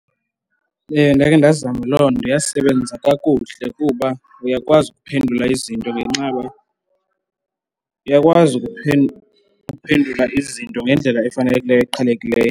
Ewe, ndakhe ndazama loo nto. Yasebenza kakuhle kuba uyakwazi ukuphendula ngenxa yoba, uyakwazi ukuphendula izinto ngendlela efanelekileyo eqhelekileyo.